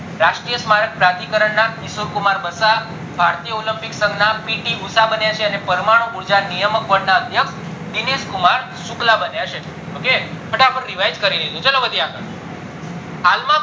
રાષ્ટ્રીય કરણ ના ઈશ્વરક કુમાર બસ્સા, ભારતીય olympics સંગ ના પી ટી ઉષા બન્યા છે અને પરમાણુ ઉર્જા નિયામક અદ્યક્ષ દિનેશ કુમાર શુક્લા બન્યા છે ok ફટાફટ revise કરી લીધું ચાલો વધીએ આગળ હાલ માં